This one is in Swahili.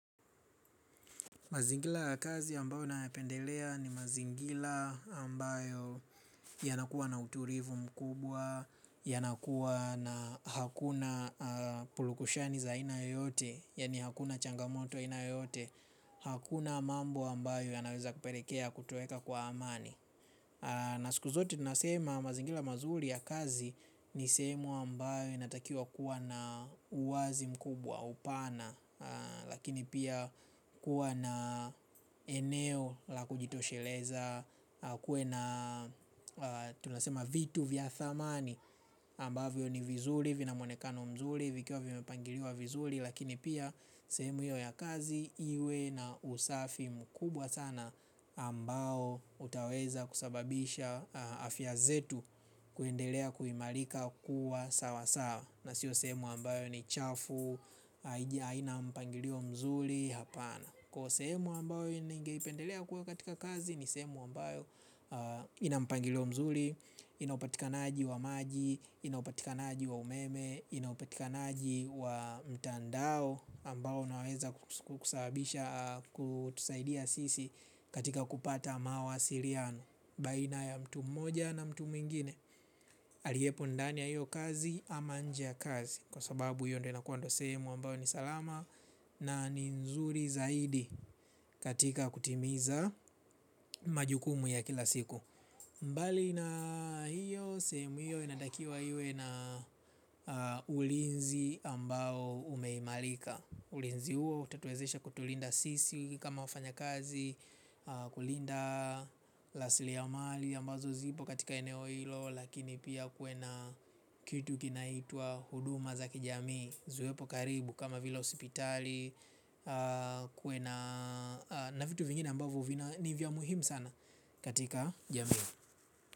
Mazingira ya kazi ambayo nayapendelea ni mazingira ambayo ya nakuwa na utulivu mkubwa, ya nakuwa na hakuna pulukushani za ina yote, ya ni hakuna changamoto aina yote, hakuna mambo ambayo ya naweza kupelekea kutueka kwa amani. Na siku zote tunasema mazingira mazuri ya kazi ni semu ambayo inatakia kuwa na uwazi mkubwa upana. Lakini pia kuwa na eneo la kujitosheleza. Kuwe na tunasema vitu vya dhamani ambavyo ni vizuri vina mwonekano mzuri vikio vimepangiliwa vizuri. Lakini pia sehemu hio ya kazi iwe na usafi mkubwa sana ambao utaweza kusababisha afya yetu kuendelea kuimarika kuwa sawa sawa na sio sehemu ambayo ni chafu haina mpangilio mzuri, hapana. Kwa sehemu ambayo ningeipendelea kuwa katika kazi ni sehemu ambayo ina mpangilio mzuri ina upatikanaji wa maji inaupatikanaji wa umeme inaupatikanaji wa mtandao amabao unaweza kusababisha au kutusaidia sisi katika kupata mawasiliano baina ya mtu moja na mwingine aliepo ndani ya hiyo kazi ama nje ya kazi kwa sababu hiyo ndio inakuwa sehemu ambao ni salama na nzuri zaidi katika kutimiza majukumu ya kila siku mbali na hiyo sehemu hiyo inatakiwa hiyo na ulinzi ambao umeimarika. Ulinzi huo utatuwezesha kutulinda sisi kama wafanyikazi kulinda rasili ya mali ambazo zipo katika eneo hilo. Lakini pia kuwe na kitu kinaitwa huduma za kijamii ziwepo karibu kama vile hosipitali. Kuwe na na vitu vingine ambavyo vina nivya muhimu sana katika jamii.